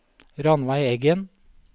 Ranveig Eggen